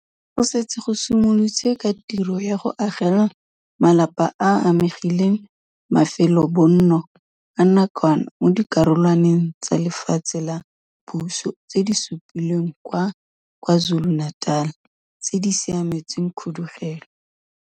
Go setse go simolotswe ka tiro ya go agela malapa a a amegileng mafelobonno a nakwana mo dikarolwaneng tsa lefatshe la puso tse di supilweng kwa KwaZulu-Natal tse di siametseng khudugelo.